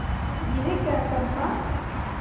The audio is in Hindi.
यह क्या चंपा